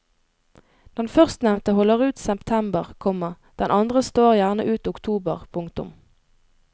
Den førstnevnte holder ut september, komma den andre står gjerne ut oktober. punktum